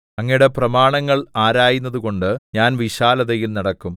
അങ്ങയുടെ പ്രമാണങ്ങൾ ആരായുന്നതുകൊണ്ട് ഞാൻ വിശാലതയിൽ നടക്കും